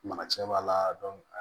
Mara cɛ b'a la